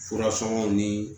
Fura sɔngɔ ni